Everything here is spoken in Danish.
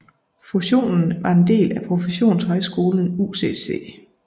Fusionen var en del af professionshøjskolen UCC